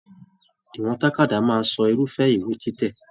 Ìwọ̀n tàkádá máa sọ irufẹ ìwé títẹ.